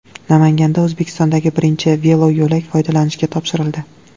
Namanganda O‘zbekistondagi birinchi veloyo‘lak foydalanishga topshirildi.